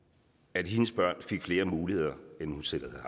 at hendes børn fik flere muligheder end hun selv